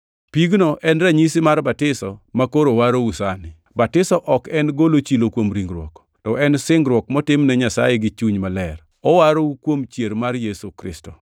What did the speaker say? Pigno en ranyisi mar batiso makoro warou sani, batiso ok en golo chilo kuom ringruok, to en singruok motim ne Nyasaye gi chuny maler. Owarou kuom chier mar Yesu Kristo,